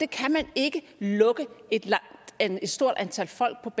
kan man ikke lukke et stort antal folk